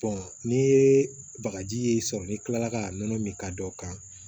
n'i ye bagaji ye sɔrɔ n'i kilala ka nɔnɔ min ka don o kan